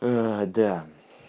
ээ да